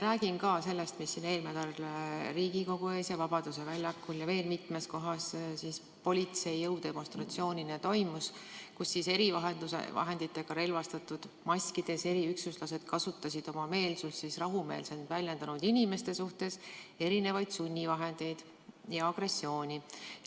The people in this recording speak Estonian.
Räägin ka sellest, mis eelmisel nädalal siin Riigikogu ees ja Vabaduse väljakul ja veel mitmes kohas politsei jõudemonstratsioonina toimus, kus erivahenditega relvastatud ja maski kandvad eriüksuslased kasutasid oma meelsust rahumeelselt väljendanud inimeste suhtes mitmesuguseid sunnivahendeid ja agressiooni.